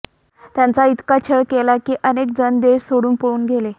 त्यांचा इतका छळ केला की अनेक जण देश सोडून पळून गेले